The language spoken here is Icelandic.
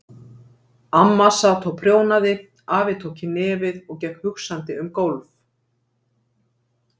Amma sat og prjónaði, afi tók í nefið og gekk hugsandi um gólf.